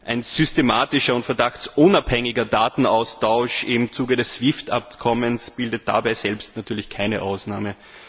Ein systematischer und verdachtsunabhängiger Datenaustausch im Zuge des SWIFT Abkommens bildet dabei selbst natürlich keine Ausnahme.